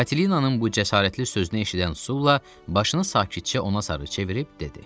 Katilinanın bu cəsarətli sözünü eşidən Sulla başını sakitcə ona sarı çevirib dedi: